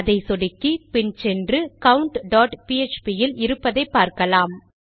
அதை சொடுக்கி பின் சென்று countபிஎச்பி இல் இருப்பதை பார்க்கலாம்